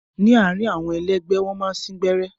Ni àárín àwọn ẹlẹgbẹ, wọn máa n sìn gbẹrẹ.